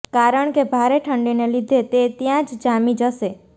કારણ કે ભારે ઠંડીને લીધે તે ત્યાં જ જામી જશે